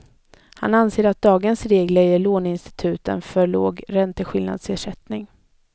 Han anser att dagens regler ger låneinstituten för låg ränteskillnadsersättning.